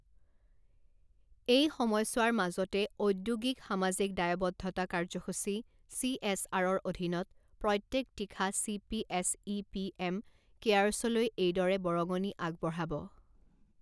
এই সময়ছোৱাৰ মাজতে ঔদ্যোগিক সামাজিক দায়ৱদ্ধতা কাৰ্যসূচী চি এছ আৰৰ অধীনত প্ৰত্যেক তীখা C P S E PM কেয়াৰ্ছলৈ এইদৰে বৰঙণি আগবঢ়াবঃ